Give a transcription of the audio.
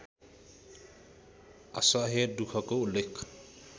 असह्य दुखको उल्लेख